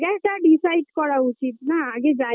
যাই তা Decide করা উচিত না আগে যাই